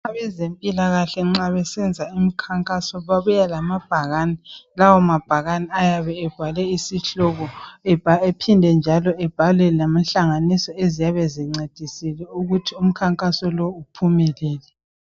Abezempilakahle nxa besenza umkhankaso babuya lamabhakani, lawo mabhakane ayebe ebhalwe isihloko ephinde njalo ebhalwe lenhlanganiso esiyabe zincedisile ukuthi umkhankaso lo uphumelele.